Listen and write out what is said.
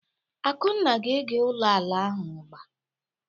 Akunna ga ete ụlọ ala ahụ agba.